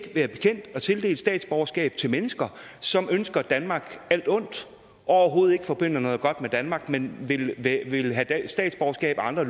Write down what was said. være bekendt at tildele statsborgerskab til mennesker som ønsker danmark alt ondt og overhovedet ikke forbinder noget godt med danmark men vil have statsborgerskab af andre